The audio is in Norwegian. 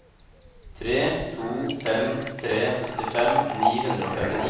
tre to fem tre syttifem ni hundre og femtini